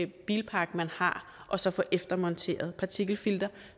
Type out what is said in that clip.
bilpark man har og så få eftermonteret partikelfilter